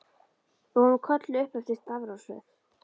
Við vorum kölluð upp eftir stafrófsröð.